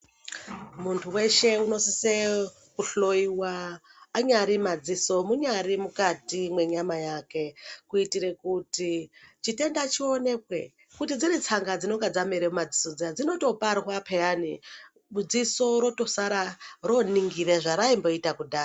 Muntu weshe anosisa kuhloiwa anyari madziso munyari mukati menyama yake kuitira kuti chitenda chionekwe kuti dziri tsanga dzinenge dzamera mumadziso dzinotoparwa piyani dziso rosara roningira zvaraimboita kudhaya.